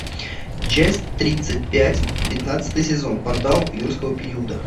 часть тридцать пять пятнадцатый сезон портал юрского периода